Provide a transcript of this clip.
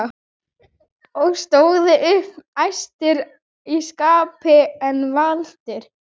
og stóðu upp æstir í skapi en valtir.